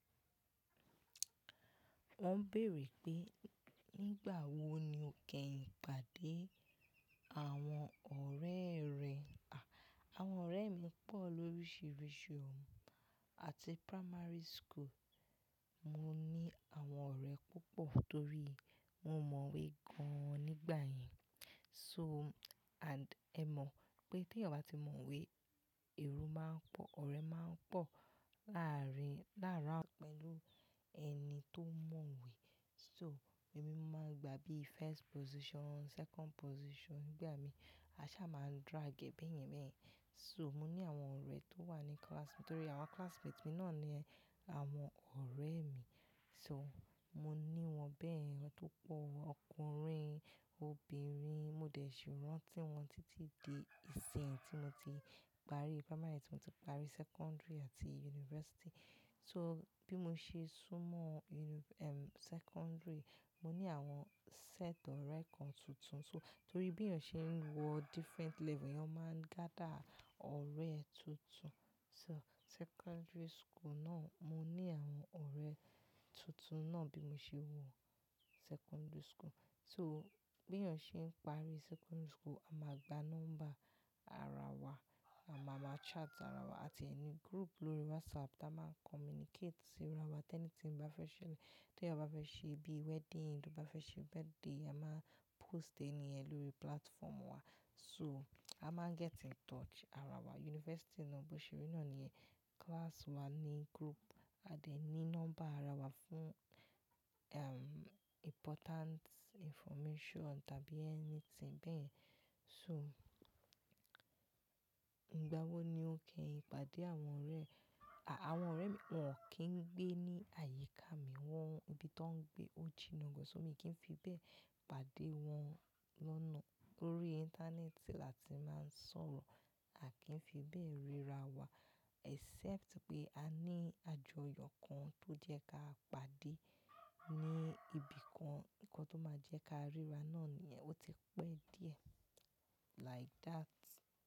Wọ́n béèrè pé, nígbà wo ni o kẹyin pàdé àwọn ọ̀rẹ́ rẹ? À, àwọn ọ̀rẹ́ mi pọ̀ lóríṣiríṣi, o. Àti primary school, mo ní àwọn ọ̀rẹ́ púpọ̀ torí mo mọ̀wé gan-an nígbà yẹn. So, and ẹ mọ̀ pé tí ènìyàn bá ti mọ̀wé, èrò máa ń pọ̀, ọ̀rẹ́ máa ń pọ̀ láàárín-- láàárín pẹ̀lú ẹni tó mọ̀wé. So, èmi máa ń gba bíi first position, second position, ìgbà mi, àṣá máa ń drag ẹ̀ bẹ̀yen bẹ̀yen. So, mo ní àwọn ọ̀rẹ́ tó wà ní class mi torí àwọn classmates mi náà ni àwọn ọ̀rẹ́ mi. So, mo ní wọn bẹ́yẹ̀n, tópo ọkùnrin, obìnrin, mo dẹ̀ si rántí wọn títí di ìsìnyí tí mo ti parí primary, tí mo ti parí secondary àti university. So, bí mo ṣe sún mọ́ uni-- ehm, secondary, mo ní àwọn set ọ̀rẹ́ kan tuntun. So, torí bí ènìyàn ṣe ń wọ different level, ènìyàn máa ń gather ọ̀rẹ́ tuntun. So, secondary school náà, mo ní àwọn ọ̀rẹ́ tuntun náà bí mo ṣe wọ secondary school. So, bí ènìyàn ṣe ń parí secondary school, a máa gba nọ́mbà ara wa, àma ma chat ara wa. A tiẹ ni group lórí WhatsApp táa máa ń communicate sí ara wa. Tẹ́ní tíń bá fẹ́ ṣele-- tí ènìyàn bá fẹ́ ṣe bíi wedding, tí ọ ba fẹ́ ṣe birthday, a máa post ẹni ẹ lórí platform wa. So, a máa ń get in touch ara wa. University náà bó ṣe rí náà ni class wa ní group, a dẹ̀ ní nọ́mbà ara wa fún, ehm, important information tàbí anything bẹ́yen. So, ìgbà wo ni o kẹ ìpàdé àwọn ọ̀rẹ́? À, àwọn ọ̀rẹ́ mi, wọn kì í gbé ní àyíká mi, wọ́n-- ibi tó ń gbé ó jinnà gan. So, mi kì í fi bẹ́ẹ̀ pàdé wọn lọ́nà. Lórí ìntánẹ́ẹ̀tì la ti máa ń sọ̀rọ̀, a kì í fi bẹ́ẹ̀ ríra wa except pé a ní àjọyọ̀ kan tó jẹ́ ká pàdé ní ibikan. Nnkan tó máa jẹ́ ká ríra náà níyẹn, ó ti pẹ́ díẹ̀. Like that.